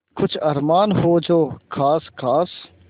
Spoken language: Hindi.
कुछ अरमान हो जो ख़ास ख़ास